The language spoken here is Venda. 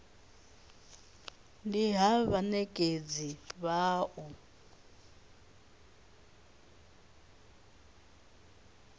ndi ha vhanekedzi vha u